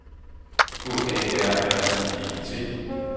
H A R R I E T